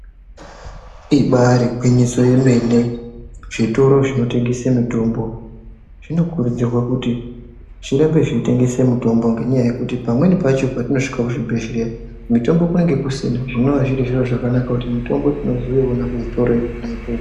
Ibaari gwinyiso remene, zvitoro zvinotengese mitombo zvinokurudzirwa kuti zvirambe zveitengesa mitombo. Ngenyaya yekuti pamweni pacho patinosvika kuzvibhedhleya mitombo kunenge kusina zvinova zviro zvakanaka kuti mitombo tinozoiona kuzvitoro ikona ikoko.